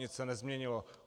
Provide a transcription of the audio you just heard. Nic se nezměnilo.